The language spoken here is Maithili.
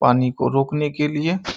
पानी को रोकने के लिए --